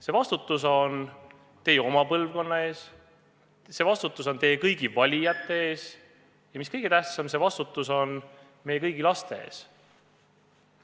See vastutus on teil oma põlvkonna ees, see vastutus on teil kõigi valijate ees ja mis kõige tähtsam, see vastutus on meie kõigi laste ees.